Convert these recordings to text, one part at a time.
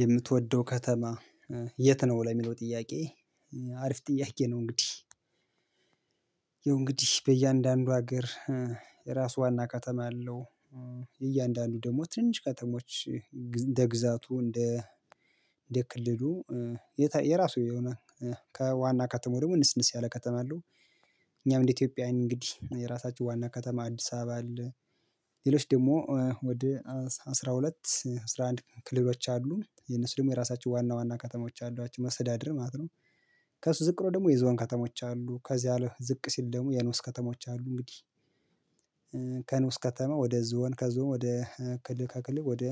የምትወደው ከተማ የት ነው ለሚለው ጥያቄ አሪፍ ጥያቄ ነው። እንግዲህ ይሄው እንግዲህ በእያንዳንዱ ሀገር የራሱ ዋና ከተማ አለው። እያንዳንዱ ደግሞ ትንሽ ከተሞች እንደ ግዛቱ እንደ እንደ ክልሉ የራሱ የሆነ ከዋና ከተማው ደግሞ ንስንስ ያለ ከተማ አለው። እኛም እንደ ኢትዮጵያውያን እንግዲህ የራሳችሁ ዋና ከተማ አዲስ አበባ። ሌሎች ደግሞ ወደ አስራ ሁለት አስራ አንድ ክልሎች አሉ የነሱ ደግሞ የራሳቸው ዋና ከተሞች አሏቸው መሰተዳድር ማለት ነው። ከሱ ዝቅ ብሎ ደግሞ የዞን ከተሞች አሉ ከዚህ አለህ ዝቅ ሲል ደግሞ የኖስ ከተሞች አሉ እንግዲህ። ከተማ ወደ ዞን ከዞን ወደ ከልል ከክልል ወደ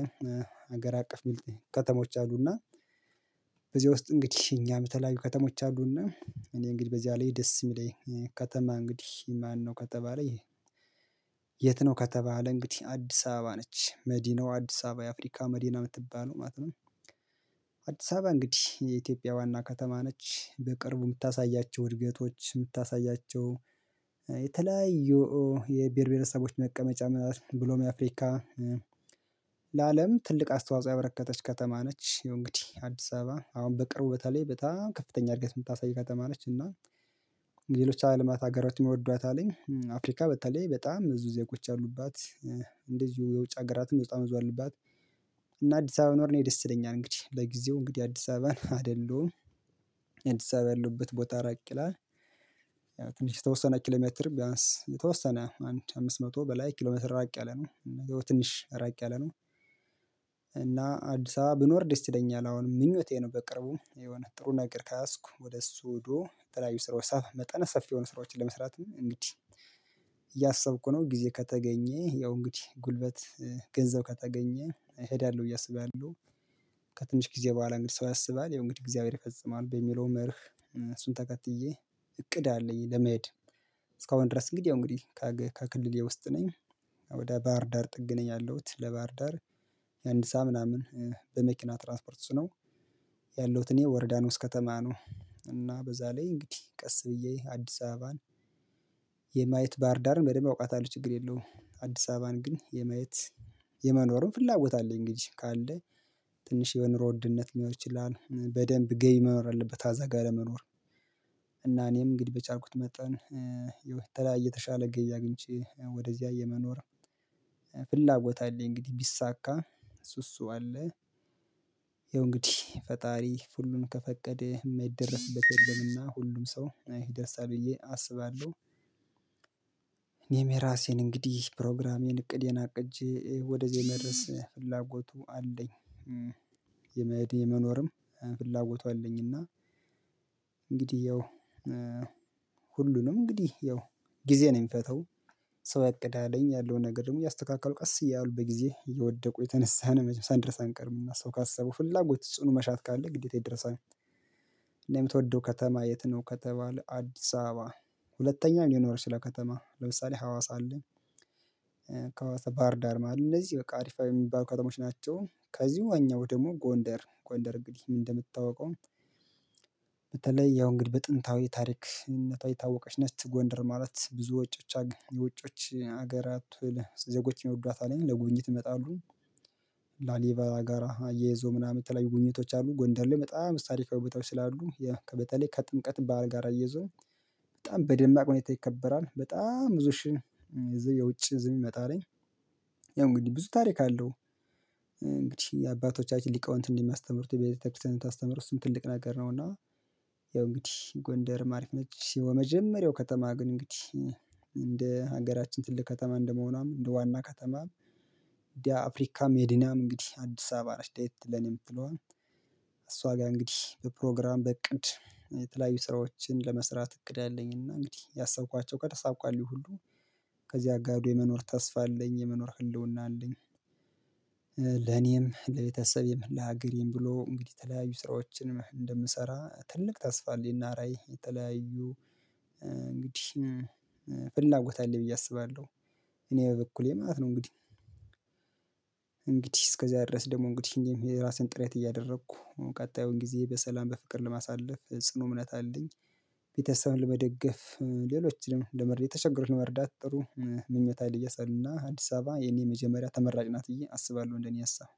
ሀገር አቀፍ የሚል ከተሞች አሉና። በዚህ ውስጥ እንግዲህ እኛም የተለያዩ ከተሞች አሉና እኔ እንግዲህ በዚያ ላይ ደስ የሚለኝ ከተማ እንግዲህ ማነው ከተባለ። የት ነው ከተባለ እንግዲህ አዲስ አበባ ነች መዲናው አዲስ አበባ የአፍሪካ መዲና የምትባለው ማለት ነው። አዲስ አበባ እንግዲህ የኢትዮጵያ ዋና ከተማ ነች። በቅርቡ የምታሳያቸው እድገቶች የምታሳያቸው የተለያዩ የብሄር ብሄረሰቦች መቀመጫ ብሎም የአፍሪካ ለአለም ትልቅ አስተዋጽኦ ያበረከተች ከተማ ነች። ይሄው እንግዲህ አዲስ አበባ አሁን በቅርቡ በተለይ በጣም ከፍተኛ እድገት የምታሳይ ከተማ ነች። እና ሌሎች አለማት አገራት ይወዷት አለኝ አፍሪካ በተለይ በጣም ብዙ ዜጎች አሉባት እንደዚሁ የውጭ ሀገራትም በጣም ብዙ አለባት። እና አዲስ አበባ ኖሮ እኔ ደስ ይለኛል እንግዲህ ለጊዜው እንግዲህ አዲስ አበባን አይደለውም። አዲስ አበባ ያለበት ቦታ ራቅ ይላል። ትንሽ የተወሰነ ኪሎሜትር ቢያንስ የተወሰነ አንድ አምስት መቶ በላይ ኪሎሜትር ራቅ ያለ ነው ትንሽ ራቅ ያለ ነው። አዲስ አበባ ብኖር ደስ ይለኛል አሁን ምኞቴን በቅርቡ የሆነ ጥሩ ነገር ከያስኩ ወደ እሱ ወዶ ተለያዩ ስራዎች ሰፍ መጠነ ሰፊ የሆኑ ስራዎችን ለመስራት እንግዲህ እያሰብኩ ነው። ጊዜ ከተገኘህ ያው እንግዲህ ጉልበት ገንዘብ ከተገኘ እሄዳለሁ ብዬ አስባለሁ። ከትንሽ ጊዜ በኋላ እንግዲህ ሰው ያሰባል እንግዲህ እግዚአብሔር ይፈጽማል በሚለው መርህ እሱን ተከትዬ እቅድ አለኝ ለመሄድ። እስካሁን ድረስ እንግዲህ ያው እንግዲህ ከክልሌ ውስጥ ነኝ። ወደ ባህር ዳር ጥግ ነኝ ያለሁት ለባህር ዳር የአንድ ሳዓት ምናምን በመኪና ትራንስፖርት ነው። ያለውት እኔ ወርዳኖስ ከተማ ነው እና በዛ ላይ እንግዲህ ቀስ ብዬ አዲስ አበባን የማየት ባርዳርን በደንብ አውቃታለሁ ችግር የለውም። አዲስ አበባን ግን የማየት የመኖሩን ፍላጎት አለ እንግዲህ ካለ ትንሽ የነሮ ውድነት ሊኖር ይችላል በደንብ ገይ መኖር አለበት አዛጋ ለመኖር። እና እኔም እንግዲህ በቻልኩት መጣን የተሻለ ገቢ አግኝቼ ወደዚያ የመኖር ፍላጎት አለኝ እንግዲህ ቢሳካ እሱ እሱ አለ። ያው እንግዲህ ፈጣሪ ሁሉም ከፈቀደ የማይደረስበት የለምና ሁሉም ሰው ይደርሳል ብዬ አስባለሁ። እኔም የራሴን እንግዲህ ፕሮግራሜን እቅድ አቅጄ ወደዚህ የመድረስ ፍላጎቱ አለኝ። የመሄድ የመኖርም ፍላጎቱ አለኝ። እና እንግዲህ ሁሉንም እንግዲህ ያው ጊዜ ነው የሚፈታው። ሰው አቅድ አለኝ ያለውን ነገር ደግሞ ያስተካክለው ቀስ እያሉ በጊዜ የወደቁ የተነሳነ መጀመሪያ ድረስ አንቀርምም እና ሰው ካሰበው ፍላጎት ጽኑ መሻት ካለ ግዴታ ይደረሳል። እኔ የምትወደው ከተማ የት ነው ከተባለ አዲስ አበባ። ሁለተኛ የሚኖር ይችላል ከተማ ለምሳሌ ሀዋሳ አለኝ። ከሀዋሳ ባህር ዳርም አሉ እነዚህ በቃ አሪፋ የሚባሉ ከተሞች ናቸው። ከዚሁ እኛው ደግሞ ጎንደር ጎንደር እንግዲህ ምን እንደምታውቀው? በተለይ ያው እንግዲህ በጥንታዊ ታሪክነቷ የታወቀች ነች ጎንደር ማለት ብዙ ውጮች የውጮች ሀገራት ዜጎች የሚወዷት አለኝ ለጉብኝት ይመጣሉ። ላሊበላ ጋር አያይዞ ምናምን የተለያዩ ጉኝቶች አሉ ጎንደር ላይ በጣም በዙ ታሪካዊ ቦታዎች ስላሉ ያው ከበተለይ ከጥምቀት ባህር ጋር አያይዘው በጣም በደማቅ ሁኔታ ይከበራል። በጣም ብዙ ሺ የውጭ ዝም ይመጣልኝ። ያው እንግዲህ ብዙ ታሪክ አለው። እንግዲህ የአባቶቻችን ሊቃውንት እንደሚያስተምሩት ቤተክርስቲያን የምታስተምር እሱን ትልቅ ነገር ነው። እና ያው እንግዲህ ጎንደርም አሪፍ ነች። የመጀመሪያው ከተማ ግን እንግዲህ እንደ ሀገራችን ትልቅ ከተማ እንደመሆኗም እንደ ዋና ከተማም እንዲህ አፍሪካም መዲና እንግዲህ አዲስ አበባ ነች። ለየት ለኔ ምትለዋ እሷ ጋር እንግዲህ በፕሮግራም በእቅድ የተለያዩ ስራዎችን ለመስራት እቅድ አለኝና እንግዲህ ያሰብኳቸው ከተሳካ ይሁሉ አጋዶ የመኖር ተስፋ አለኝ የመኖር ህልውና አለኝ። ለኔም ለቤተሰብም ለሀገሬም ብሎ እንግዲህ የተለያዩ ስራዎችን እንደምሰራ ትልቅ ተስፋ አለኝና ራዕይ የተለያዩ እንግዲህ ፍላጎት አለ ብዬ አስባለሁ። እኔ በበኩሌ ማለት ነው እንግዲህ። እንግዲህ እስከዛ ድረስ ደግሞ እንግዲህ የራሴን ጥረት እያደረኩ ቀጣዩን ጊዜ በሰላም በፍቅር ለማሳለፍ ጽኑ እምነት አለኝ። ቤተሰብን ለመደገፍ ሌሎችንም ለመርዳት የተቸገሩትን ለመርዳት ጥሩ ምኞት ሀይል እየጸና አዲስ አበባ የኔ መጀመሪያ ተመራጭ ናት ብዬ አስባለሁ እንደኔ አሳብ።